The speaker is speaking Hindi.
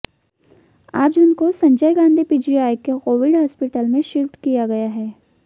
आज उनको संजय गांधी पीजीआई के कोविड हॉस्पिटल में शिफ्ट किया गया है